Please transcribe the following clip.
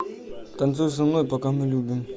танцуй со мной пока мы любим